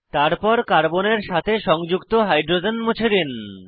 তারপর কার্বনের সাথে সংযুক্ত হাইড্রোজেন মুছে দিন